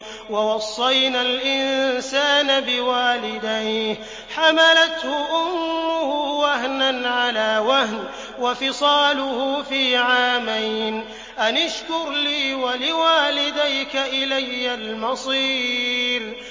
وَوَصَّيْنَا الْإِنسَانَ بِوَالِدَيْهِ حَمَلَتْهُ أُمُّهُ وَهْنًا عَلَىٰ وَهْنٍ وَفِصَالُهُ فِي عَامَيْنِ أَنِ اشْكُرْ لِي وَلِوَالِدَيْكَ إِلَيَّ الْمَصِيرُ